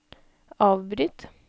avbryt